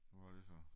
Og hvad er det så